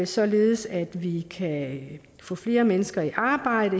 således at vi kan få flere mennesker i arbejde